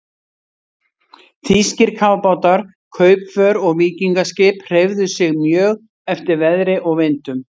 Þýskir kafbátar, kaupför og víkingaskip hreyfðu sig mjög eftir veðri og vindum.